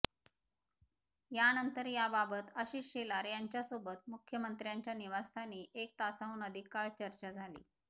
यानंतर याबाबत आशिष शेलार यांच्यासोबत मुख्यमंत्र्यांच्या निवासस्थानी एक तासाहून अधिक काळ चर्चा झाली